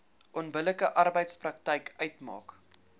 onbillike arbeidspraktyk uitmaak